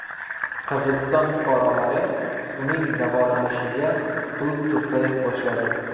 Qirg‘iziston fuqarolari uning davolanishiga pul to‘play boshladi.